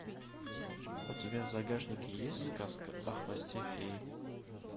у тебя в загашнике есть сказка о хвосте феи